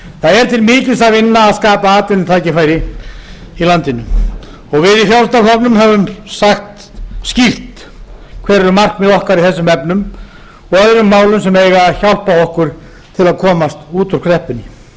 það er til mikils að vinna að skapa atvinnutækifæri í landinu og við í frjálslynda flokknum höfum sagt skýrt hver eru markmið í þessum efnum og öðrum málum sem eiga að hjálpa okkur til að komast út úr kreppunni við gefum